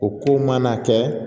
O kow mana kɛ